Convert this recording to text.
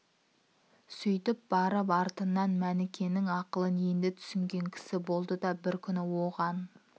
сөйтіп барып артынан мәнікенің ақылын енді түсінген кісі болды да бір күні оған